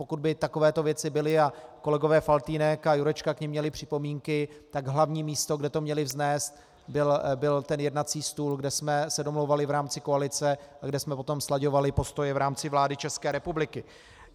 Pokud by takovéto věci byly a kolegové Faltýnek a Jurečka k nim měli připomínky, tak hlavní místo, kde to měli vznést, byl ten jednací stůl, kde jsme se domlouvali v rámci koalice a kde jsme potom slaďovali postoje v rámci vlády České republiky.